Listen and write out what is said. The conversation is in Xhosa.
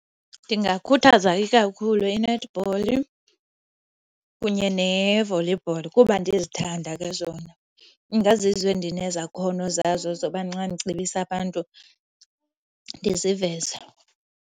Ndingakhuthaza ikakhulu i-netball kunye ne-volleyball kuba ndizithanda ke zona. Ingazizo endinezakhono zazo zoba nxa ndicebisa abantu ndiziveze.